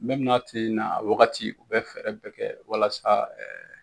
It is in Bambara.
n'a ti na a wagati u bɛ fɛɛrɛ bɛɛ kɛ walasa